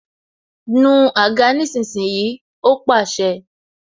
Nu àga nísinsìnyí! Ó pàṣẹ